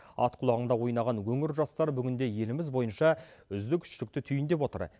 ат құлағында ойнаған өңір жастар бүгінде еліміз бойынша үздік үштікті түйіндеп отыр